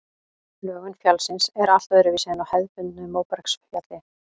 Lögun fjallsins er allt öðruvísi en á hefðbundnu móbergsfjalli.